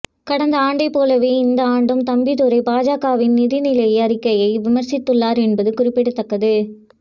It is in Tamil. கடந்த ஆண்டைப் போலவே இந்த ஆண்டும் தம்பிதுரை பாஜகவின் நிதிநிலை அறிக்கையை விமர்சித்துள்ளார் என்பது குறிப்பிடத்தக்கது